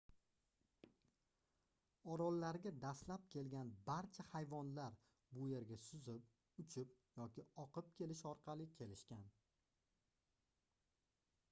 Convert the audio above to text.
orollarga dastlab kelgan barcha hayvonlar bu yerga suzib uchib yoki oqib kelish orqali kelishgan